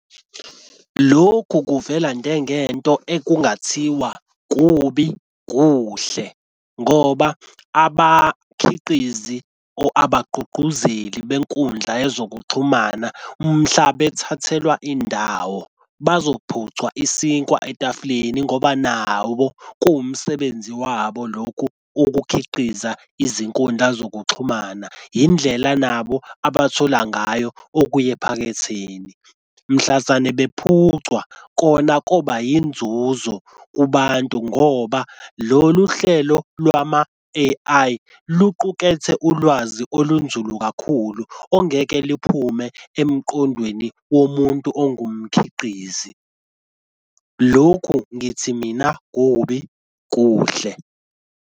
Lokhu kuvela njengento okungathiwa kubi kuhle ngoba abakhiqizi or abagqugquzeli benkundla yezokuxhumana mhla bethathelwa indawo bazophuca isinkwa etafuleni, ngoba nabo kuwumsebenzi wabo lokhu ukukhiqiza izinkundla zokuxhumana. Indlela nabo abathola ngayo okuya ephaketheni. Mhlazane bephucwa kona koba yinzuzo kubantu ngoba lolu hlelo lwama-A_I luqukethe ulwazi olunzulu kakhulu ongeke liphume emqondweni womuntu ongumkhiqizi. Lokhu ngithi mina kubi kuhle.